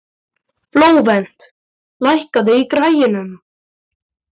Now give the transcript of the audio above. Flóvent, lækkaðu í græjunum.